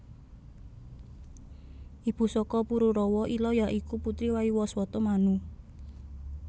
Ibu saka Pururawa Ila ya iku putri Waiwaswata Manu